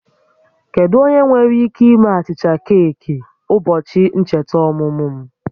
Kedu onye nwere ike ime achịcha keeki ụbọchị ncheta ọmụmụ m?